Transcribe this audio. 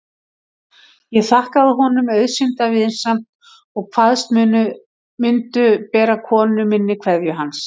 Ég þakkaði honum auðsýnda vinsemd og kvaðst mundu bera konu minni kveðju hans.